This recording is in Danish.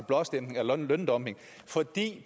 blåstempling af løndumping og det